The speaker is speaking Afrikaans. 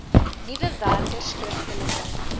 nuwe werkers skriftelike